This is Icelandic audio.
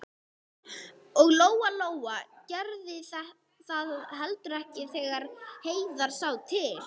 Og Lóa Lóa gerði það heldur ekki þegar Heiða sá til.